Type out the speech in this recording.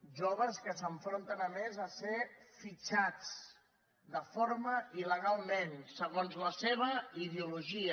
joves que s’enfronten a més a ser fitxats de forma il·legal segons la seva ideologia